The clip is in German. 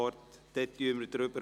Wir kommen also zur Abstimmung.